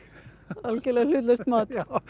algjörlega hlutlaust mat